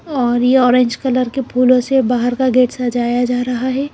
और यह orange colour के फूलों से बाहर का गेट सजाया जा रहा है।